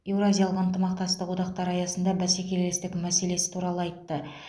евразиялық ынтымақтастық одақтар аясындағы бәсекелестік мәселесі туралы айтты